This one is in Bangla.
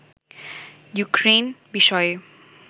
ইউক্রেইন বিষয়ে